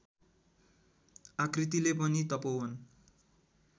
आकृतिले पनि तपोवन